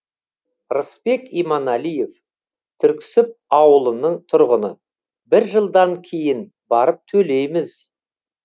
рысбек иманалиев түрксіб ауылының тұрғыны бір жылдан кейін барып төлейміз